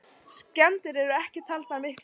Skemmdir eru ekki taldar miklar.